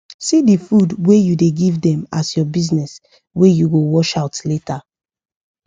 see the food wa u da give them as ur business wa u go washout later